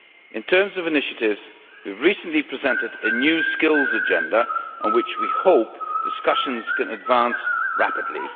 In terms of initiatives, we recently presented a New Skills Agenda on which we hope discussions can advance rapidly.